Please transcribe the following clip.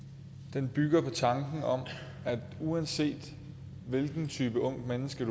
den bygger på tanken om at uanset hvilken type ungt menneske